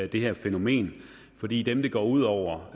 det her fænomen fordi dem det går ud over